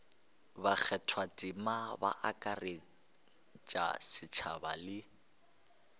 bakgathatema ba akaretša setšhaba le